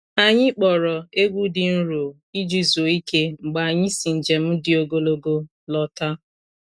Anyị kpọrọ egwu dị nro iji zuo ike mgbe anyị si njem dị ogologo lọta.